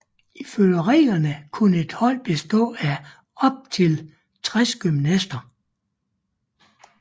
Ifølge reglerne kunne et holdet bestå af op til 60 gymnaster